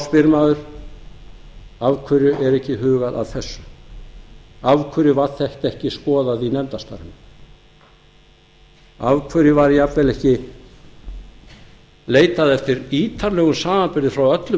spyr maður af hverju er ekki hugað að þessu af hverju var þetta ekki skoðað í nefndarstarfinu af hverju var jafnvel ekki leitað eftir ítarlegum samanburði frá öllum